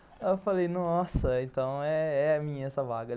Eu falei, nossa, então é a minha essa vaga.